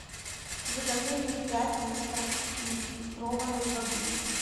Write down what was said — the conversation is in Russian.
закажи мне пять литров нефильтрованной воды